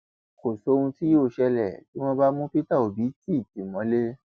kò sóhun tí yóò ṣẹlẹ tí wọn bá mú pété obi tì tì mọlẹ